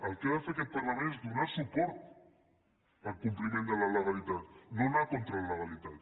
el que ha de fer aquest parlament és donar suport al compliment de la legalitat no anar contra la legalitat